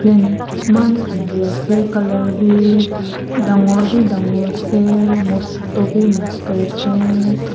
eman sundur ase color b dangor b dangor ase mosto b mosto ase.